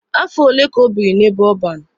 Afọ ole ka o biri n'ebe ọban?